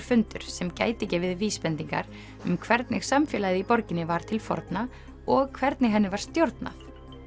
fundur sem gæti gefið vísbendingar um hvernig samfélagið í borginni var til forna og hvernig henni var stjórnað